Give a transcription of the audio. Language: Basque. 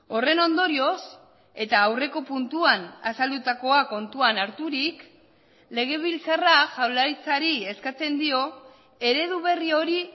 horren ondorioz eta aurreko puntuan azaldutakoa kontuan harturik legebiltzarra jaurlaritzari eskatzen dio eredu berri hori